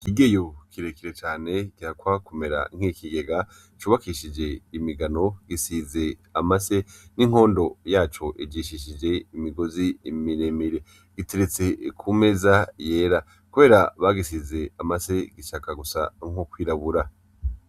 Ikigeyo kirekire cane gihakwa kumera nk'ikigega, c'ubakishije imigano gisize amase, inkondo yaco ijishishije n'imigozi miremire, giteretse kumeza yera kubera bagisize amase gishaka gusa nko kwirabura.